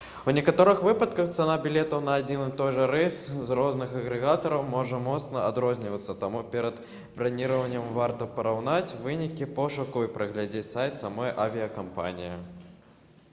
у некаторых выпадках цана білетаў на адзін і той жа рэйс у розных агрэгатараў можа моцна адрознівацца таму перад браніраваннем варта параўнаць вынікі пошуку і прагледзець сайт самой авіякампаніі